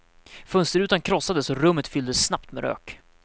Fönsterrutan krossades och rummet fylldes snabbt med rök.